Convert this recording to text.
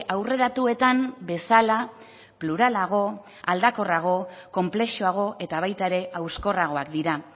aurreratuetan bezala pluralago aldakorrago konplexuago eta baita ere hauskorragoak dira